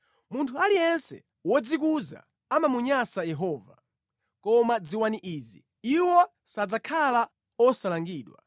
Munthu aliyense wodzikuza amamunyansa Yehova. Koma dziwani izi: Iwo sadzakhala osalangidwa.